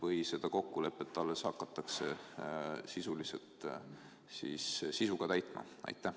Või seda kokkulepet alles hakatakse sisuga täitma?